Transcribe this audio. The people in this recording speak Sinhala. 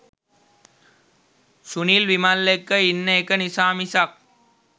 සුනිල් විමල් එක්ක ඉන්න එක නිසා මිසක්